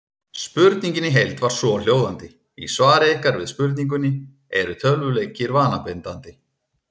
Spurningin í heild var svohljóðandi: Í svari ykkar við spurningunni Eru tölvuleikir vanabindandi?